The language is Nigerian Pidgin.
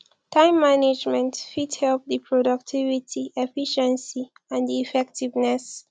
time management fit help di productivity efficiency and di effectiveness